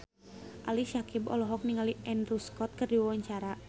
Ali Syakieb olohok ningali Andrew Scott keur diwawancara